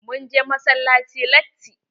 Mun je massalaci latti.